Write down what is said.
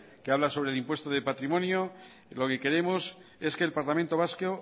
que habla sobre el impuesto de patrimonio lo que queremos es que el parlamento vasco